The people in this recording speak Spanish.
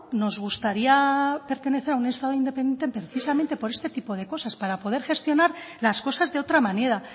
nos gustaría pertenecer a un estado independiente precisamente por este tipo de cosas para poder gestionar las cosas de otra manera